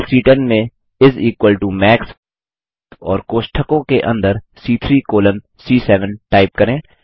cell सी10 में इस इक्वल टो मैक्स और कोष्ठकों के अंदर सी3 कॉलन सी7 टाइप करें